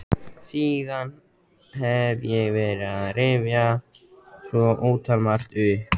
Síðan hef ég verið að rifja svo ótalmargt upp.